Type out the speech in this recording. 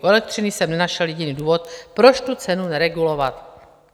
U elektřiny jsem nenašel jediný důvod, proč tu cenu neregulovat."